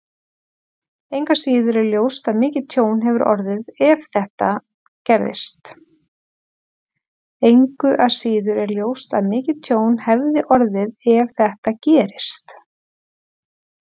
Engu að síður er ljóst að mikið tjón hefði orðið ef þetta gerist.